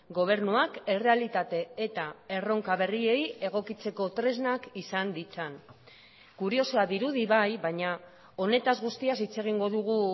gobernuak errealitate eta erronka berriei egokitzeko tresnak izan ditzan kuriosoa dirudi bai baina honetaz guztiaz hitz egingo dugu